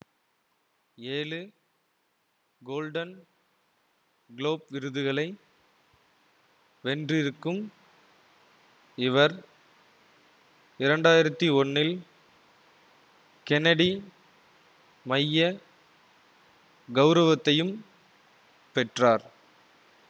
ஏழு Golden Globe விருதுகளை வென்றிருக்கும் இவர் இரண்டு ஆயிரத்தி ஒன்னில் கென்னடி மைய கவுரவத்தையும் பெற்றார்